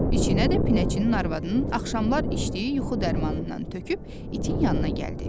İçinə də pinəçinin arvadının axşamlar içdiyi yuxu dərmanından töküb itin yanına gəldi.